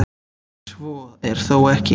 svo er þó ekki